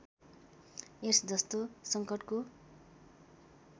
AIDS जस्तो सङ्कटको